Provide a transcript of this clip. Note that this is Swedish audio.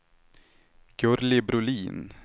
Gurli Brolin